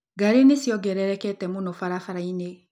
Ngari nĩ ciongererekete mũno barabara-inĩ.